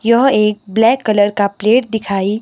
यह एक black colour का प्लेट दिखाइ--